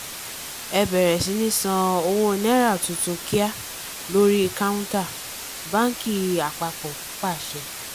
ẹ bẹ̀rẹ̀ sí ní san owó náírà tuntun kíá lórí káunta báńkì àpapọ̀ pàṣẹ